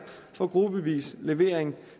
for gruppevis levering